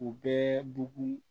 U bɛɛ bugu